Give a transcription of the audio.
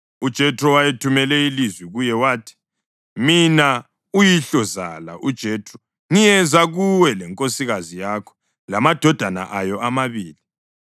UJethro wayethumele ilizwi kuye wathi, “Mina uyihlozala uJethro ngiyeza kuwe lenkosikazi yakho lamadodana ayo amabili.”